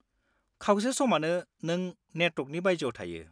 खावसे समानो, नों नेटवर्कनि बायजोआव थायो।